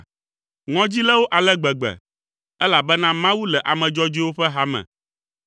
Ŋɔdzi lé wo ale gbegbe, elabena Mawu le ame dzɔdzɔewo ƒe hame.